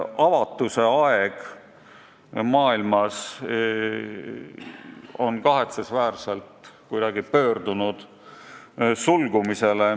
Avatuse aeg maailmas on kahetsusväärselt kuidagi pöördunud sulgumisele.